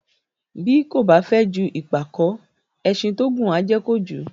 Bí kò ba fẹ ju ìpàkó, ẹṣin tí ó ngùn á jẹ kojù